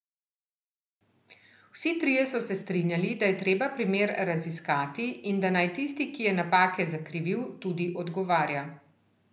Vsi trije so se strinjali, da je treba primer raziskati in da naj tisti, ki je napake zakrivil, tudi odgovarja.